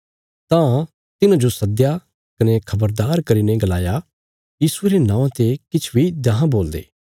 तां तिन्हांजो सदया कने खबरदार करीने गलाया यीशुये रे नौआं ते किछ बी देखां बोलदे कने देखां सखांदे